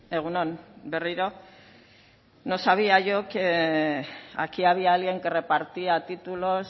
egun on berriro no sabía yo que aquí había alguien que repartía títulos